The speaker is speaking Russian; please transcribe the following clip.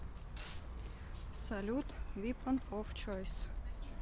салют випон оф чойс